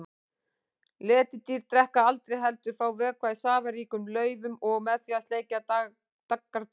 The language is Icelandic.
Letidýr drekka aldrei heldur fá vökva í safaríkum laufum og með því að sleikja daggardropa.